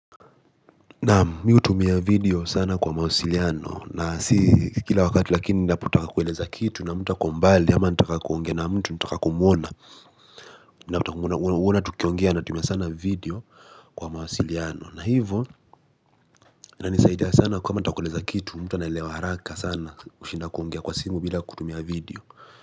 Naami hutumia video sana kwa mawasiliano na si kila wakati lakini ninapotaka kueleza kitu na mtu ako mbali ama nataka kuongea na mtu nataka kumwona nataka kumwona tukiongea natumia sana video kwa mawasiliano na hivyo unanisaidia sana kama nataka kueleza kitu mtu anaelewa haraka sana kushinda kuongea kwa simu bila kutumia video.